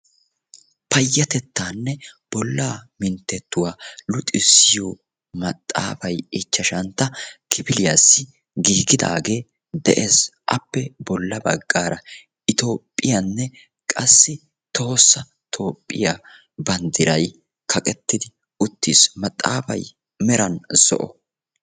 Payyatettaanne bollaa minttettuwa luxissiyo maxaafay ichchashantta kifiliyassi giigidaagee de'ees. Appe bolla baggaara itoophphiyanne qassi tohossa toophphiya banddiray kaqettidi uttiis. Maxaafay meran zo'o.